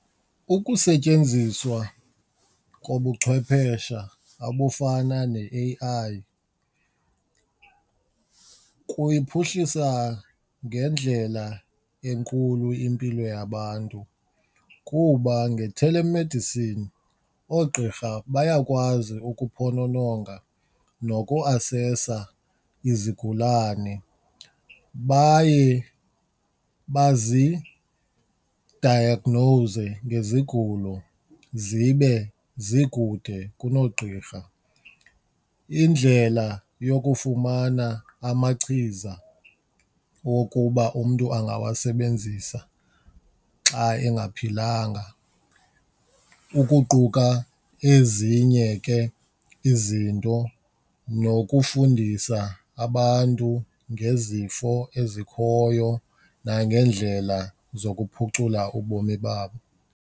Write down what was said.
Ukusetyenziswa kobuchwephesha abufana ne-A_I kuyiphuhlisa ngendlela enkulu impilo yabantu kuba nge-telemedicine oogqirha bayakwazi ukuphonononga nokuasesa izigulane baye bazidayagnowuze ngezigulo zibe zikude kunoogqirha, indlela yokufumana amachiza wokuba umntu angawasebenzisa xa engaphilanga ukuquka ezinye ke izinto nokufundisa abantu ngezifo ezikhoyo nangeendlela zokuphucula ubomi babo.